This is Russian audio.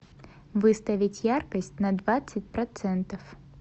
выставить яркость на двадцать процентов